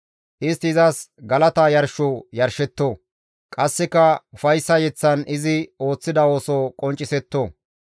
Istti izas galata yarsho yarshetto; qasseka ufayssa yeththan izi ooththida ooso qonccisetto.